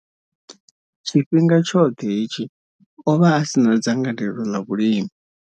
Tshifhinga tshoṱhe hetshi, o vha a si na dzangalelo ḽa vhulimi.